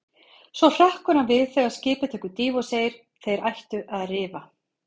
Svo hrekkur hann við þegar skipið tekur dýfu og segir: Þeir ættu að rifa.